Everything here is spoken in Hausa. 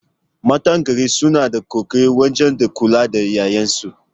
Matan garin suna da ƙoƙari wajen kula da ƴaƴansu